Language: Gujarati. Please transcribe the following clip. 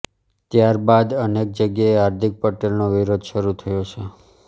ત્યાર બાદ અનેક જગ્યાએ હાર્દિક પટેલનો વિરોધ શરૂ થયો છે